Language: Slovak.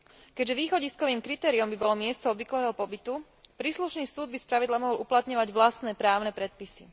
Keďže východiskovým kritériom by bolo miesto obvyklého pobytu, príslušný súd by spravidla mohol uplatňovať vlastné právne predpisy.